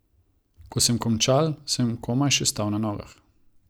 Ko sem končal, sem komaj še stal na nogah.